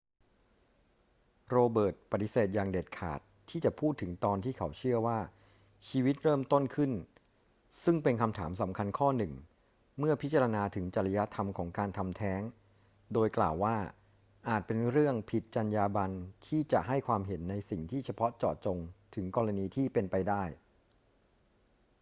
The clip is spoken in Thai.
โรเบิร์ตปฏิเสธอย่างเด็ดขาดที่จะพูดถึงตอนที่เขาเชื่อว่าชีวิตเริ่มต้นขึ้น ซึ่งเป็นคำถามสำคัญข้อหนึ่งเมื่อพิจารณาถึงจริยธรรมของการทำแท้ง โดยกล่าวว่าอาจเป็นเรื่องผิดจรรยาบรรณที่จะให้ความเห็นในสิ่งที่เฉพาะเจาะจงถึงกรณีที่เป็นไปได้